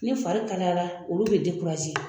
Ni fari kalayara olu bɛ